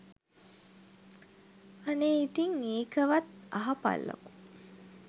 අනේ ඉතින් ඒකවත් අහපල්ලකෝ